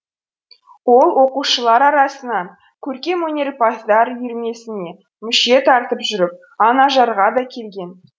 ол оқушылар арасынан көркемөнерпаздар үйірмесіне мүше тартып жүріп анажарға да келген